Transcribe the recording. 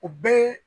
O bɛɛ